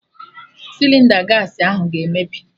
Sịlịnda gaasị ahụ ga-emebi